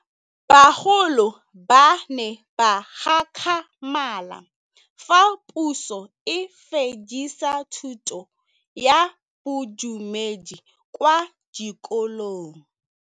Bagolo ba ne ba gakgamala fa Pusô e fedisa thutô ya Bodumedi kwa dikolong.